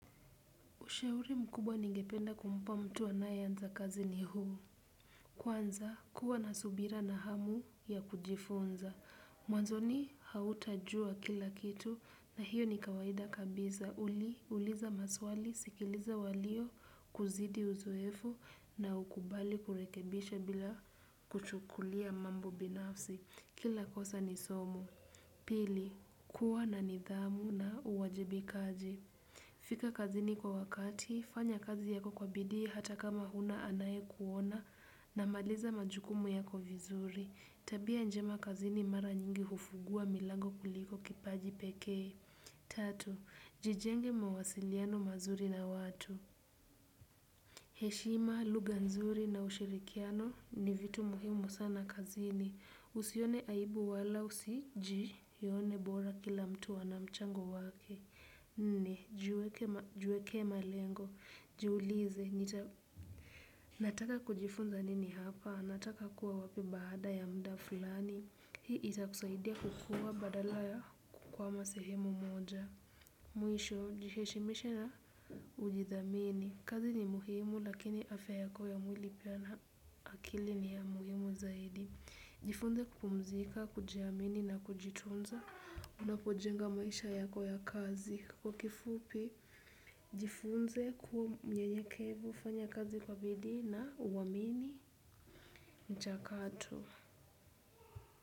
Ushauri mkubwa ningependa kumpa mtu anayeanza kazi ni huu. Kwanza, kuwa na subira na hamu ya kujifunza. Mwanzoni hautajua kila kitu na hiyo ni kawaida kabisa. Uli, uliza maswali, sikiliza walio, kuzidi uzuefu na ukubali kurekebisha bila kuchukulia mambo binafsi. Kila kosa ni somo. Pili, kuwa na nidhamu na uwajibika aji. Fika kazini kwa wakati, fanya kazi yako kwa bidii hata kama huna anayekuona na maliza majukumu yako vizuri. Tabia njema kazini mara nyingi hufungua milango kuliko kipaji pekee. Tatu, jijenge mawasiliano mazuri na watu. Heshima, lugha nzuri na ushirikiano ni vitu muhimu sana kazini. Usione aibu wala usijione bora kila mtu ana mchango wake. Nne, jiweke malengo, jiulize, nataka kujifunza nini hapa, nataka kuwa wapi baada ya muda fulani. Hii itakusaidia kukua badala ya kukwama sehemu moja. Mwisho jiheshimishe na ujithamini. Kazi ni muhimu lakini afya yako ya mwili pia na akili ni ya muhimu zaidi. Jifunze kupumzika, kujiamini na kujitunza. Unapojenga maisha yako ya kazi kwa kifupi, jifunze kuwa mnyenyekevu, hufanya kazi kwa bidii na, uwamini, mchakato.